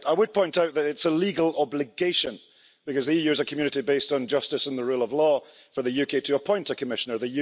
I would point out that it is a legal obligation because the EU is a community based on justice and the rule of law for the UK to appoint a Commissioner.